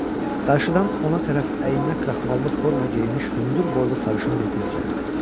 Qarşıdan ona tərəf əyninə kraxmallı forma geyinmiş hündürboylu sarışın bir qız gəlirdi.